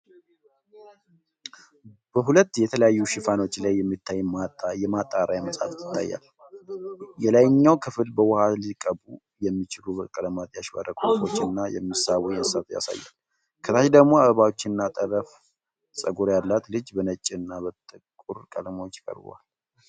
በሁለት የተለያዩ ሽፋኖች ላይ የሚታዩ የማጣሪያ መጽሐፍት ይታያሉ። የላይኛው ክፍል በውሃ ሊቀቡ የሚችሉ በቀለማት ያሸበረቁ ወፎችን እና የሚሳቡ እንስሳትን ያሳያል፤ ከታች ደግሞ አበባዎች እና ጠለፈ ፀጉር ያላት ልጅ በነጭ እና ጥቁር ቀለሞች ቀርበዋል።